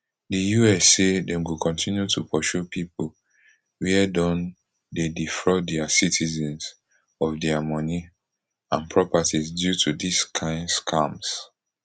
di us say dem go kontinu to pursue pipo wia don dey defraud dia citizens of dia money and properties due to dis kind scams